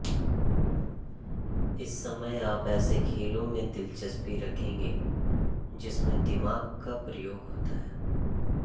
इस समय आप ऐसे खेलों में दिलचस्पी रखेंगे जिसमे दिमाग का प्रयोग होता है